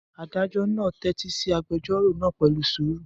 Adájọ́ náà tẹ́tí sí agbẹjọ́rò náà pẹ̀lú sùúrù.